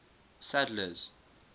sadler's